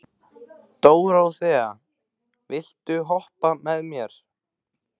Dóróþea, viltu hoppa með mér?